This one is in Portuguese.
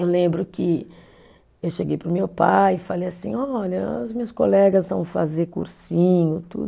Eu lembro que eu cheguei para o meu pai e falei assim, olha, as minhas colegas vão fazer cursinho, tudo.